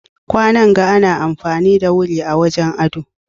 kwanan ga ana amfani na wuri a wajen ado